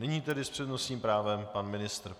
Nyní tedy s přednostním právem pan ministr.